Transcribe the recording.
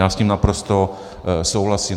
Já s ním naprosto souhlasím.